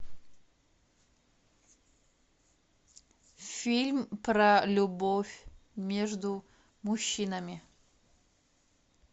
фильм про любовь между мужчинами